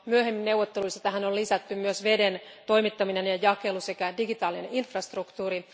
Myöhemmin neuvotteluissa tähän on lisätty myös veden toimittaminen ja jakelu sekä digitaalinen infrastruktuuri.